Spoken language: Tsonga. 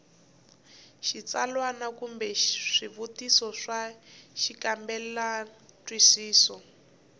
xitsalwana kumbe swivutiso swa xikambelantwisiso